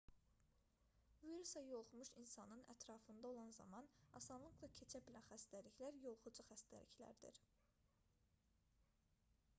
virusa yoluxmuş insanın ətrafında olan zaman asanlıqla keçə bilən xəstəliklər yoluxucu xəstəliklərdir